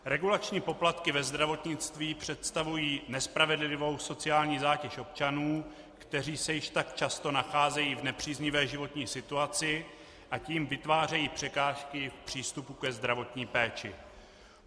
Regulační poplatky ve zdravotnictví představují nespravedlivou sociální zátěž občanů, kteří se již tak často nacházejí v nepříznivé životní situaci a tím vytvářejí překážky v přístupu ke zdravotní péči.